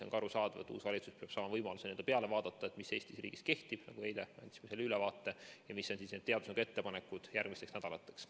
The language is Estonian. On ka arusaadav, et uus valitsus peab saama võimaluse vaadata, mis Eesti riigis kehtib, eile me andsime sellest ülevaate, ja mis on teadusnõukoja ettepanekud järgmisteks nädalateks.